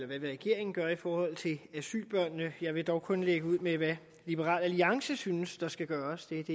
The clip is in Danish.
hvad vil regeringen gøre i forhold til asylbørnene jeg vil dog kun lægge ud med hvad liberal alliance synes der skal gøres det er det